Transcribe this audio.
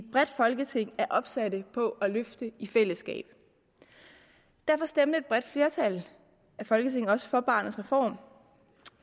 folketinget er opsatte på at løfte i fællesskab derfor stemte et bredt flertal i folketinget også for barnets reform